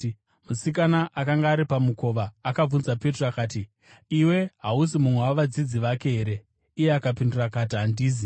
Musikana akanga ari pamukova akabvunza Petro akati, “Iwe hausi mumwe wavadzidzi vake here?” Iye akapindura akati, “Handisi.”